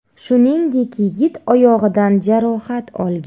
Shuningdek, yigit oyog‘idan jarohat olgan.